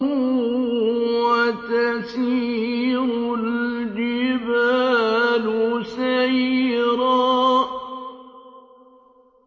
وَتَسِيرُ الْجِبَالُ سَيْرًا